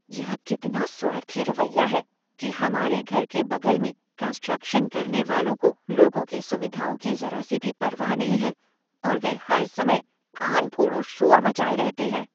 यह कितना स्वार्थी रवैया है कि हमारे घर के बगल में कंस्ट्रक्शन करने वालों को लोगों की सुविधाओं की जरा सी भी परवाह नहीं है और वे हर समय कानफोड़ू शोर मचाए रहते हैं।